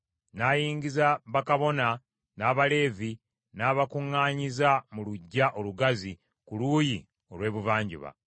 N’ayingiza bakabona n’Abaleevi, n’abakuŋŋaanyiza mu luggya olugazi ku luuyi olw’ebuvanjuba,